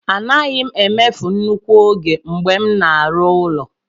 Anaghị m emefu nnukwu ego mgbe m na-arụ ụlọ.